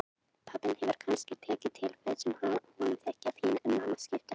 Pabbinn hefur kannski tekið til föt sem honum þykja fín, en mamma skiptir öllu út.